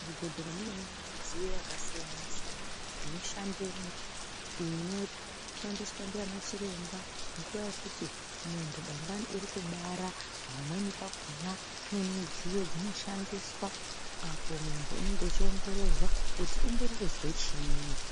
Muzvibhedhlera mune midziyo yakasiyana siyana inoshandamo inoshandiswa nana chiremba munguwabyekuyi muntu dangani Ari kubara pamweni pakona Paine midziyo inoshandiswa muntu akuongororwa kuti unoznwa chinyi.